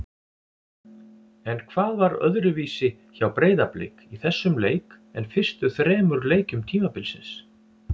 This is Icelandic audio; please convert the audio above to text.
En hvað var öðruvísi hjá Breiðablik í þessum leik en fyrstu þremur leikjum tímabilsins?